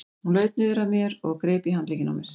Hún laut niður að mér og greip í handlegginn á mér.